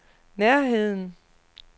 nærheden